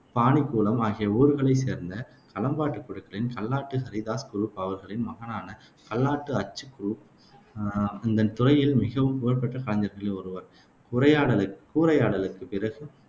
பானிக்குளம் ஆகிய ஊர்களைச் சேர்ந்த களம்பாட்டு குழுக்களின் கல்லாட்டு ஹரிதாஸ் குருப் அவர்களின் மகனான கல்லாட்டு அச்சு குருப் அஹ் இந்தத் துறையில் மிகவும் புகழ்பெற்ற கலைஞர்களில் ஒருவர். குரையாடல் கூரையாடலுக்குப் பிறகு